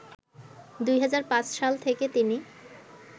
২০০৫ সাল থেকে তিনি